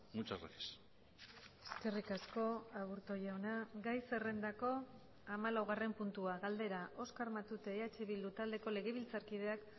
muchas gracias eskerrik asko aburto jauna gai zerrendako hamalaugarren puntua galdera oskar matute eh bildu taldeko legebiltzarkideak